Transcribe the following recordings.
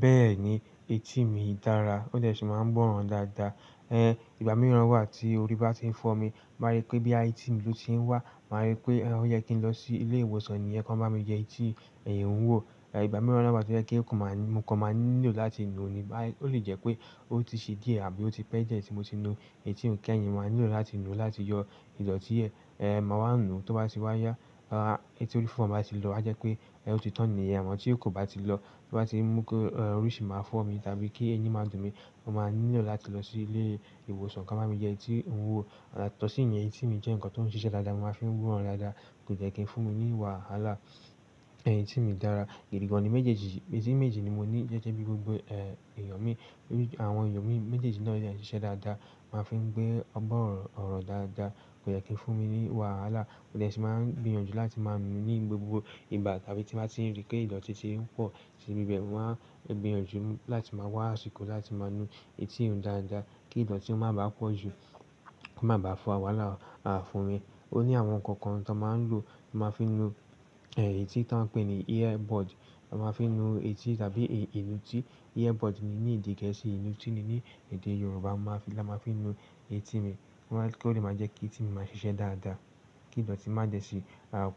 Bẹ́ẹ̀ni, etí mi dára, ó dẹ̀ ṣe máa ń gbọ́ràn dáadáa. Ìgbà mìíràn wà tí orí bá ti ń fọ́ mi, màá rí pé bí i etí mi tún ti ń wà, màá rí pé ó yẹ kí n lọ sí ilé ìwòsàn nìyẹn kí wọ́n bá mi yẹ etí wò. Ìgbà mìíràn dẹ̀ wà tó jẹ́ pé mo kò ma nílò láti nu ni ó lè jẹ́ pé ó ti ṣe díẹ̀ àbí ó ti pẹ́ diẹ́ ẹ́ ti mo ti nu etí ò kè ẹ̀yìn ma nílò láti nu láti yọ ìdọ̀tí ẹ. Màá wá nu tó bá ti wáya. Etí orí fọ́ bá ti lọ, a jẹ́ pé ó ti tán nìyẹn. Àmọ́ tí kò bá ti lọ, tí ó bá ti mú kí orí sì máa fọ́ mi tàbí kí eyín máa dùn mí, mo máa nílò láti lọ sí ilé ìwòsàn kí wọ́n bá mi yẹ etí wò. Yatọ́ sí yẹn etí mi jẹ́ ǹkan tó ń ṣiṣẹ́ dáadáa, mo máa fi ń gbọ́ràn dáadáa, kò dẹ kí ń fún mi ní wàhálà. Etí mi dára. Gidi gan-an ni méjèèjì, etí méjì ni mo ní jẹ́jẹ́ bí gbogbo èèyàn ní. Àwọn èèyàn méjèèjì náà dẹ́ ẹ̀ṣẹ̀ dáadáa. Mo máa fi gbọ́ ọ̀rọ̀ dáadáa kò dẹ̀ kí fún mi ní wàhálà. Ó dẹ̀sì máa ń gbìyànjú láti máa nu ní gbogbo ìgbà tàbí tí màá ti rí pé ìdọ̀tí ti ń pọ̀ síbi bẹ́ẹ̀ wá, n gbìyànjú láti máa wá àsìkò láti máa nu etí mi dáadáa kí ìdọ̀tí ó máa bá pọ̀ jù, kó má bá à fa wàhálà fún mi. O ní àwọn ǹkan kan tó máa ń lò, máa fi nu etí táa ń pè ní earbud. A máa fi nu etí tàbí èélú tí. Earbud ni ní èdè gẹ̀ẹ́sì, ìnútí ni ní èdè Yorùbá. Ma-- la máa fi nu etí mi kí ó lè máa jẹ́ kí etí mi máa ṣiṣẹ́ dáadáa, kí ìdọ̀tí má jẹ́ ṣi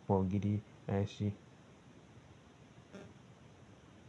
pọ̀ gidi si.